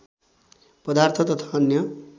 पदार्थ तथा अन्य